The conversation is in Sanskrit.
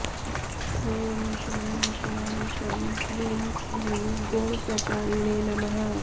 ॐ शं शां षं ह्रीं क्लीं गुणप्रचारिणे नमः